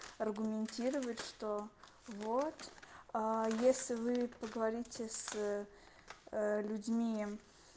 аргументировать что вот если вы поговорите с людьми